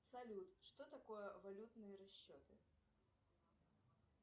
салют что такое валютные расчеты